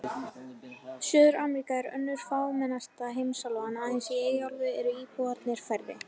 Suður-Ameríka er önnur fámennasta heimsálfan, aðeins í Eyjaálfu eru íbúarnir færri.